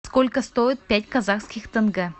сколько стоит пять казахских тенге